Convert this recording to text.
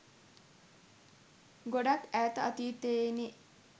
ගොඩාක් ඈත අතීතයේනේ.